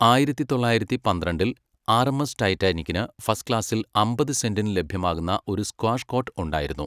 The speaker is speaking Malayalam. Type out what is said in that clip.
ആയിരത്തി തൊള്ളായിരത്തി പന്ത്രണ്ടിൽ, ആർഎംഎസ് ടൈറ്റാനിക്കിന് ഫസ്റ്റ് ക്ലാസിൽ അമ്പത് സെന്റിന് ലഭ്യമാകുന്ന ഒരു സ്ക്വാഷ് കോട്ട് ഉണ്ടായിരുന്നു.